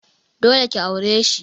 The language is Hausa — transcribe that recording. Dole ki aure shi.